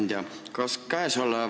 Hea ettekandja!